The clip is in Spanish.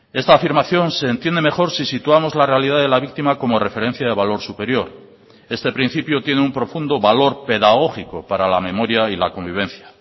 esta afirmación se entiende mejor si situamos la realidad de la víctima como referencia de valor superior este principio tiene un profundo valor pedagógico para la memoria y la convivencia